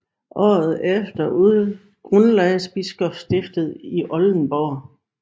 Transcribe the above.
Året efter grundlagdes biskopstiftet i Oldenburg